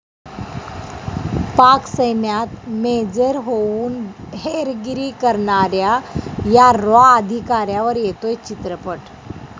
पाक सैन्यात मेजर होऊन हेरगिरी करणाऱ्या या 'रॉ' अधिकाऱ्यावर येतोय चित्रपट